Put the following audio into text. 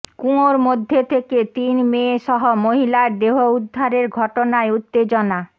কুয়োর মধ্যে থেকে তিন মেয়ে সহ মহিলার দেহ উদ্ধারের ঘটনায় উত্তেজনা